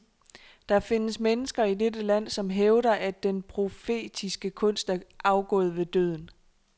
Der findes mennesker i dette land, som hævder, at den profetiske kunst er afgået ved døden.